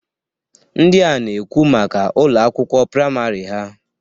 Ndịa na-ekwu maka Ụlọ akwụkwọ praịmarị ha.